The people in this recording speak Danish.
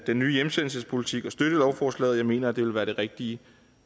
den nye hjemsendelsespolitik og støtte lovforslaget jeg mener at det vil være det rigtige